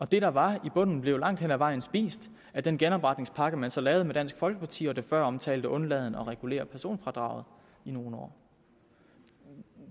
det der var i bunden blev langt hen ad vejen spist af den genopretningspakke man så lavede med dansk folkeparti og som før omtalt undlod at regulere personfradraget i nogle år